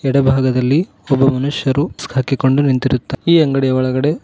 ಎಡಭಾಗದಲ್ಲಿ ಒಬ್ಬ ಮನುಷ್ಯರು ಮುಸ್ಕ ಹಾಕಿಕೊಂಡು ನಿಂತಿರುತ್ತ ಈ ಅಂಗಡಿಯ ಒಳಗಡೆ--